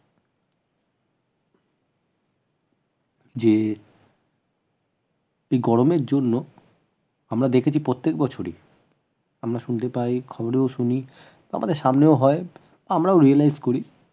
যে এই গরমের জন্য আমরা দেখেছি প্রত্যেক বছরই আমরা শুনতে পাই খবরেও শুনি আমাদের সামনেও হয় আমরাও realise করি যে